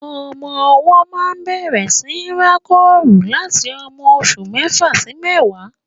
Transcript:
Ọmọ ọwọ́ máa ń bẹ̀rẹ̀ síi rákòrò láti ọmọ oṣù mẹ́fà sí mẹ́wàá.